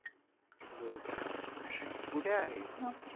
कुठे आहे?